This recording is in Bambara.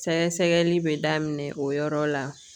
Sɛgɛsɛgɛli bɛ daminɛ o yɔrɔ la